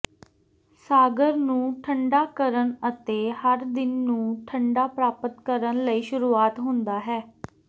ਸਾਗਰ ਨੂੰ ਠੰਢਾ ਕਰਨ ਅਤੇ ਹਰ ਦਿਨ ਨੂੰ ਠੰਢਾ ਪ੍ਰਾਪਤ ਕਰਨ ਲਈ ਸ਼ੁਰੂ ਹੁੰਦਾ ਹੈ